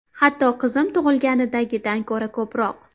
Hatto qizim tug‘ilganidagidan ko‘ra ko‘proq.